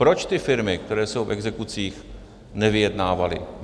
Proč ty firmy, které jsou v exekucích, nevyjednávaly?